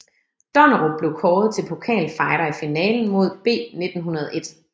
Donnerup blev kåret til pokalfighter i finalen mod B1901